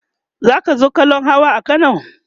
zaka zo kallan Hawa a Kano?